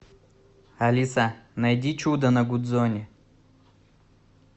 алиса найди чудо на гудзоне